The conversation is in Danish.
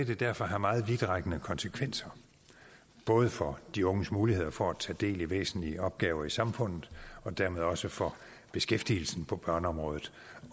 det derfor have meget vidtrækkende konsekvenser både for de unges muligheder for at tage del i væsentlige opgaver i samfundet og dermed også for beskæftigelsen på børneområdet